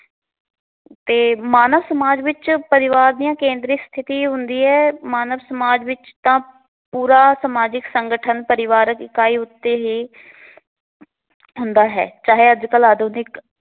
ਤੇ ਮਾਨਸ ਸਮਾਜ ਵਿੱਚ ਪਰਿਵਾਰ ਦੀਆਂ ਕੇਂਦਰੀ ਸਥਿਤੀ ਇਹ ਹੁੰਦੀ ਹੈ। ਮਾਨਸ ਸਮਾਜ ਵਿੱਚ ਤਾਂ ਪੂਰਾ ਸਮਾਜਿਕ ਸੰਗਠਨ ਪਰਿਵਾਰ ਇਕਾਈ ਉੱਤੇ ਹੀ ਹੁੰਦਾ ਹੈ ਚਾਹੇ ਅਜ ਕੱਲ ਆਧੁਨਿਕ